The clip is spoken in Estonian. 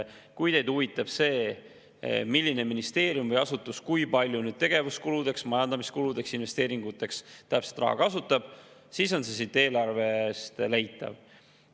Kui teid huvitab see, milline ministeerium või asutus kui palju tegevuskuludeks, majandamiskuludeks, investeeringuteks täpselt raha kasutab, siis selle siit eelarvest leiab.